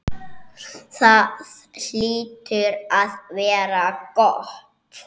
Það hlýtur að vera gott.